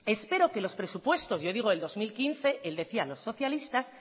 espero que los presupuestos yo digo del dos mil quince él decía los socialistas